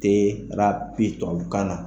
tubabukan na.